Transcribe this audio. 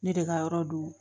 Ne de ka yɔrɔ don